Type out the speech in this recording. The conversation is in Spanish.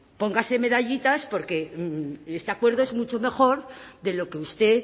póngase medallitas porque este acuerdo es mucho mejor de lo que usted